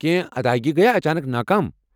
کینٛہہ ادایگی گیہِ اچانک ناکام؟